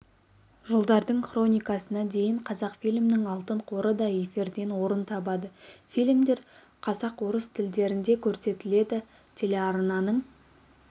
жылдардың хроникасына дейін қазақфильмнің алтын қоры да эфирден орын табады фильмдер қазақ орыс тілдерінде көрсетіледі телеарнаның